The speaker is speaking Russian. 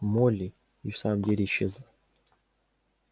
молли и в самом деле исчезла